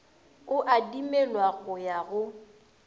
e adimelwa go ya go